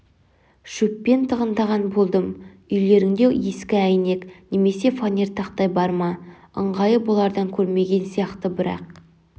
шөппен тығындаған болдым үйлеріңде ескі әйнек немесе фанер тақтай бар ма ыңғайы бұлардан көрмеген сияқты бірақ